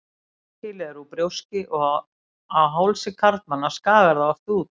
Barkakýlið er úr brjóski og á hálsi karlmanna skagar það oft út.